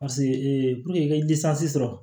Paseke i ye sɔrɔ